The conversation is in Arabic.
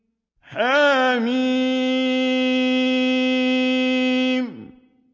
حم